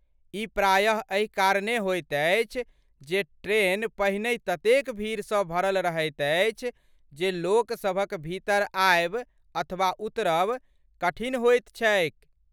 ई प्रायः एहि कारणे होइत अछि जे ट्रैन पहनहि ततेक भीड़सँ भरल रहैत अछि जे लोकसभक भीतर आयब अथवा उतरब कठिन होइत छैक।